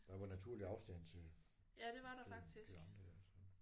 Der var naturlig afstanden til til de andre der så